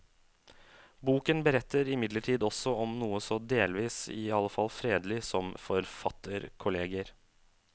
Boken beretter imidlertid også om noe så delvis i alle fall fredelig som forfatterkolleger.